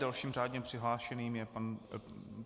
Dalším řádně přihlášeným je pan ...